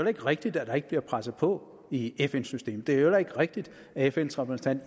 ikke rigtigt at der ikke bliver presset på i fn systemet det er jo heller ikke rigtigt at fns repræsentant